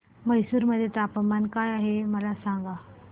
म्हैसूर मध्ये तापमान काय आहे मला सांगा